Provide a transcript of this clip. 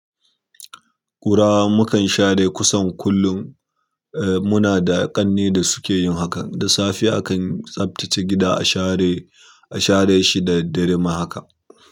Ƙura mukan share kusan kullum, eh muna da ƙanne da suke yin hakan. Da safe akan tsaftace gida a share, a share shi da daddare ma haka.